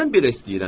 Mən belə istəyirəm.